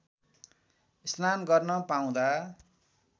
स्नान गर्न पाउँदा